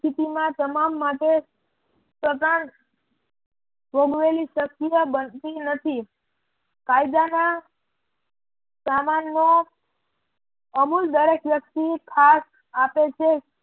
પરિસ્થિતિ માં તમામ માટે ભોગવેલી સક્રિય બનતી નથી. કાયદાના સામાનનો અમુલ દરેક વ્યક્તિ ખાસ આપે છે